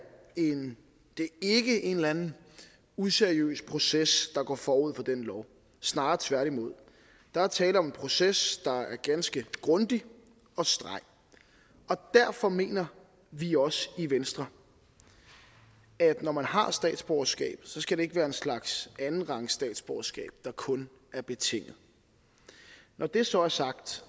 en eller anden useriøs proces der går forud for den lov snarere tværtimod der er tale om en proces der er ganske grundig og streng derfor mener vi også i venstre at når man har statsborgerskab skal det ikke være en slags andenrangs statsborgerskab der kun er betinget når det så er sagt